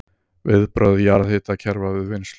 Viðbrögð jarðhitakerfa við vinnslu